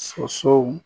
Sosow